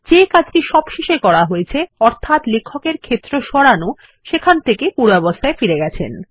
যে কাজটি সবশেষে করা হয়েছে অর্থাত লেখকের ক্ষেত্র সরানো এখান থেকে পূর্বাবস্থায় ফিরে গেছে